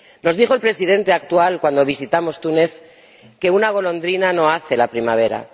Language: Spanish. Nos dijo el Presidente actual, cuando visitamos Túnez, que una golondrina no hace la primavera.